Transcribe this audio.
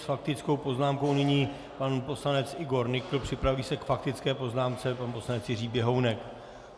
S faktickou poznámkou nyní pan poslanec Igor Nykl, připraví se k faktické poznámce pan poslanec Jiří Běhounek.